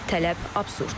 Tələb absurddur.